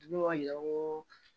Ne y'a yira ko